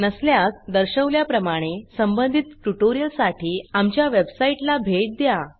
नसल्यास दर्शवल्याप्रमाणे संबंधित ट्युटोरियल साठी आमच्या वेबसाइट ला भेट द्या